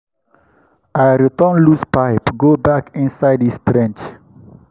i return loose pipe go back inside its trench.